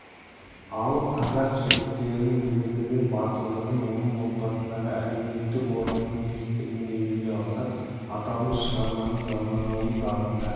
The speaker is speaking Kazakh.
ал қазақ жігіттерінің ерлігін батылдығын оның отбасындағы әлеуметтік орнының биіктігін негізге алсақ аталмыш шығарманы заманауи бағытта